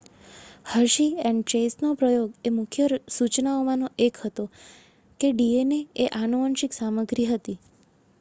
Hershey and ચેઝનો પ્રયોગ એ મુખ્ય સૂચનમાંનો એક હતો કે ડીએનએ એ આનુવંશિક સામગ્રી હતી